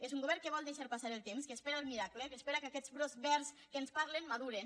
és un govern que vol deixar passar el temps que espera el miracle que espera que aquests brots verds de què ens parlen madurin